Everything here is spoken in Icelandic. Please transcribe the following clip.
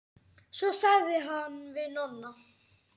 Svo sagði hann við Nonna.